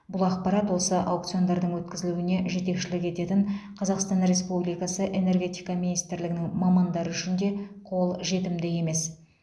бұл ақпарат осы аукциондардың өткізілуіне жетекшілік ететін қазақстан республикасы энергетика министрлігінің мамандары үшін де қол жетімді емес